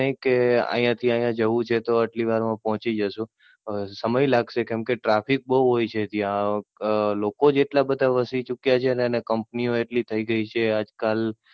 નઈ કે અહિયાં થી અહિયાં જવું છે તો તમે આટલી વાર મા પહોચી જશો. અમ સમય લાગશે. Traffic બઉ હોય છે ત્યાં લોકો જ એટલા બધા વસી ચુક્યા છે ને Company ઓ એટલી થઇ ગઈ છે આજ કાલ.